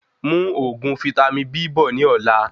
Mú òògùn vítámì B bọ̀ ní ọ̀la